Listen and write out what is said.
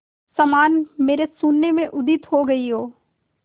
समान मेरे शून्य में उदित हो गई हो